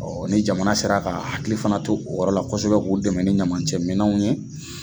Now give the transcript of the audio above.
ni jamana sera ka hakili fana to o yɔrɔ la kosɛbɛ k'o dɛmɛ ni ɲamancɛ minɛw ye.